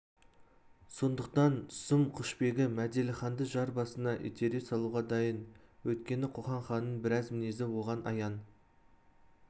сондықтан сұм құшбегі мәделіханды жар басына итере салуға дайын өйткені қоқан ханының біраз мінезі оған аян